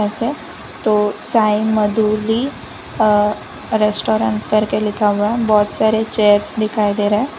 तो साइमधुली अ रेस्टोरेंट करके लिखा हुआ है बहुत सारे चेयर्स दिखाई दे रहे हैं।